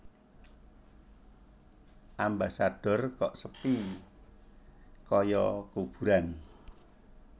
Ambasador kok sepi koyo kuburan